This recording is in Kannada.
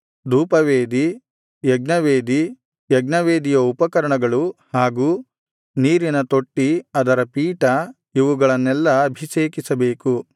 ಧೂಪವೇದಿ ಯಜ್ಞವೇದಿ ಯಜ್ಞವೇದಿಯ ಉಪಕರಣಗಳು ಹಾಗು ನೀರಿನ ತೊಟ್ಟಿ ಅದರ ಪೀಠ ಇವುಗಳನ್ನೆಲ್ಲಾ ಅಭಿಷೇಕಿಸಬೇಕು